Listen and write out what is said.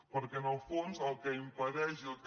perquè en el fons el que impedeix i el que